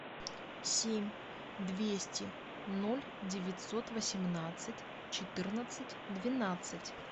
семь двести ноль девятьсот восемнадцать четырнадцать двенадцать